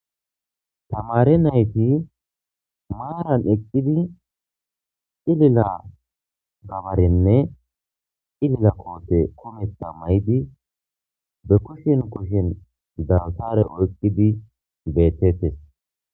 tamare nayti maaran eqqidi ilila-gabarenne ilila koote kumetta maydi be kushin kushshin dawtare oyqqidi beetettes